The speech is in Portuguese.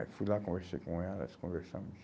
Aí fui lá, conversei com ela, nós conversamos.